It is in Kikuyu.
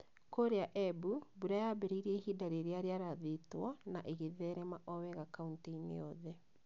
Kũrĩa Embu, mbura yaambĩrĩirie ihinda rĩrĩa rĩarathĩtwo na ĩgĩtherema o wega kauntĩ-inĩ yothe.